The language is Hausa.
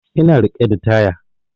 Ina riƙe da taya